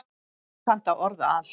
Þú kannt að orða allt.